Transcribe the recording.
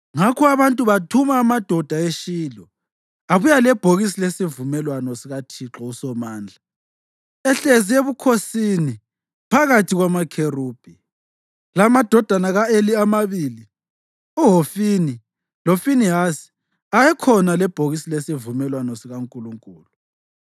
Ngakho abantu bathuma amadoda eShilo, abuya lebhokisi lesivumelwano sikaThixo uSomandla, ehlezi ebukhosini phakathi kwamakherubhi. Lamadodana ka-Eli amabili, uHofini loFinehasi, ayekhona lebhokisi lesivumelwano sikaNkulunkulu.